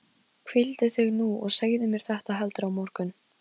Hvíldu þig nú og segðu mér þetta heldur á morgun.